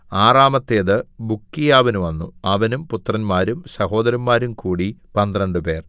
ആറാമത്തേത് ബുക്കീയാവിന് വന്നു അവനും പുത്രന്മാരും സഹോദരന്മാരും കൂടി പന്ത്രണ്ടുപേർ